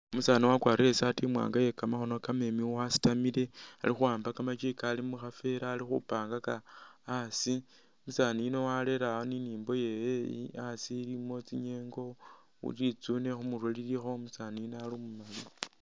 Umusani wakwarile isati iye kamakhono kamaleyi wasitamile alikhu wamba kamachi Kali mukhanvela alikhupangaka asi, umusani yuuno warere'a nimimbo yewe elah asi mulimo tsinyengo litsune khumurwe lilikho umusani yuuno umumali